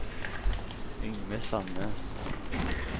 Yngve Sandnes